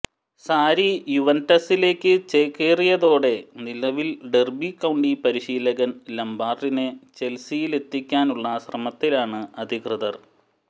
സാരി യുവന്റസിലേക്ക് ചേക്കേറിയതോടെ നിലവിൽ ഡെർബി കൌണ്ടി പരിശീലകൻ ലാംപാർഡിനെ ചെൽസിയിലെത്തിക്കാനുള്ള ശ്രമത്തിലാണ് അധികൃതർ